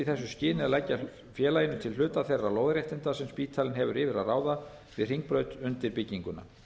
þessu skyni að leggja félaginu til hluta þeirra lóðarréttinda sem spítalinn hefur yfir að ráða við hringbraut undir bygginguna